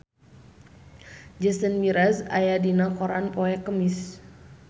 Jason Mraz aya dina koran poe Kemis